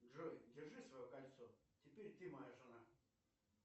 джой держи свое кольцо теперь ты моя жена